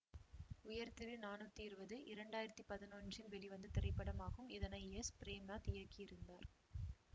உயர்திரு நானூத்தி இருவது இரண்டாயிரத்தி பதினொன்றில் வெளிவந்த திரைப்படமாகும் இதனை எஸ் பிரேம்நாத் இயக்கியிருந்தார்